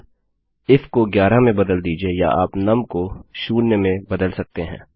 अब इफ को 11 में बदल दीजिये या आप नुम को 0 में बदल सकते हैं